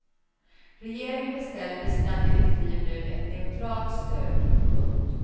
Regeringen beställer i sina direktiv nu ett neutralt stöd. punkt